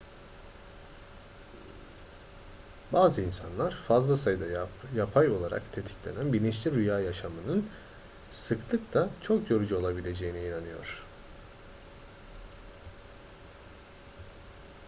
bazı insanlar fazla sayıda yapay olarak tetiklenen bilinçli rüya yaşamanın sıklıkla çok yorucu olabileceğine inanıyor